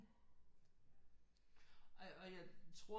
Og jeg tror